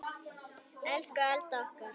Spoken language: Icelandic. Elsku Alda okkar.